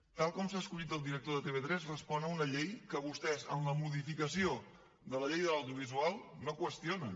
tal com s’ha escollit el director de tv3 respon a una llei que vostès en la modificació de la llei de l’audiovisual no qüestionen